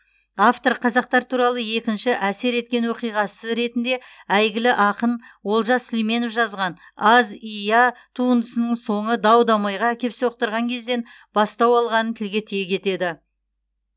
автор қазақтар туралы екінші әсер еткен оқиғасы ретінде әйгілі ақын олжас сүлейменов жазған аз и я туындысының соңы дау дамайға әкеп соқтырған кезден бастау алғанын тілге тиек етеді